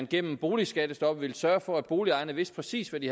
gennem boligskattestoppet sørge for at boligejerne vidste præcis hvad de